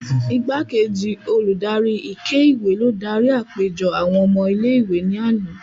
Igbakeji oludari ike-iwe lo dari apejọ awọn ọmọ ìlé-ìwé ni ana.